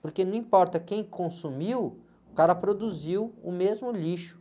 Porque não importa quem consumiu, o cara produziu o mesmo lixo.